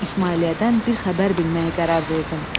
İsmailiyyədən bir xəbər bilməyə qərar verdim.